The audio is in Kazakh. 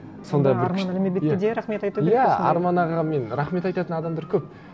сонда бір арман әлменбетті де рахмет айту керек иә арман ағаға мен рахмет айтатын адамдар көп